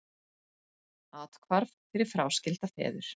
Athvarf fyrir fráskilda feður